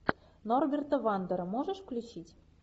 норберта вандера можешь включить